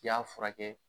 K'i y'a furakɛ